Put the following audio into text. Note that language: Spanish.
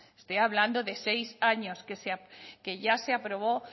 estoy hablando de seis años que ya se aprobó